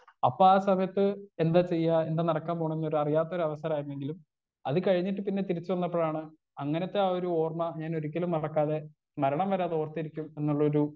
Speaker 1 അപ്പൊ ആ സമയത്ത് എന്താ ചെയ്യാ എന്താ നടക്കാൻ പോണേന്നൊരു അറിയാത്തൊരവസരായിരുന്നെങ്കിലും അത് കഴിഞ്ഞിട്ട് പിന്നെ തിരിച്ച് വന്നപ്പോഴാണ് അങ്ങനത്തെ ആ ഒരു ഓർമ ഞാനൊരിക്കലും മറക്കാതെ മരണം വരെ അതോർത്തിരിക്കും എന്നുള്ളൊരു.